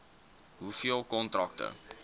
hoeveel kontrakte